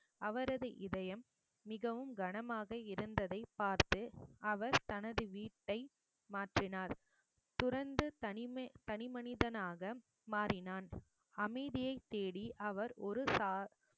அவரது இதயம் மிகவும் கனமாக இருந்ததை பார்த்து அவர் தனது வீட்டை மாற்றினார் துறந்து தனிமே~ தனிமனிதனாக மாறினான் அமைதியைத் தேடி அவர் ஒரு சா~